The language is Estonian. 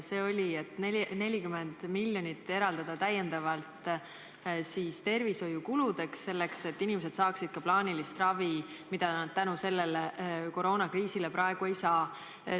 See oli, et 40 miljonit eraldada täiendavalt tervishoiukuludeks, et inimesed saaksid ka plaanilist ravi, mida nad koroonakriisi tõttu praegu ei saa.